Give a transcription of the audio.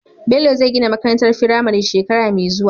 Bello zai gina makarantar firame shekara me zuwa